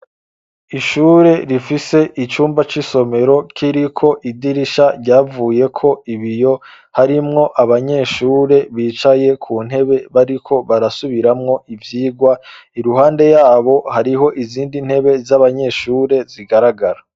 Ishure rifise icumba c'isomero k'iriko idirisha ryavuyeko ibiyo harimwo abanyeshure bicaye ku ntebe bariko barasubiramwo ivyigwa, iruhande yabo hariho izindi ntebe z'abanyeshure zigaragara.